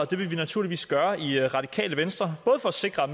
det vil vi naturligvis gøre i radikale venstre både for at sikre at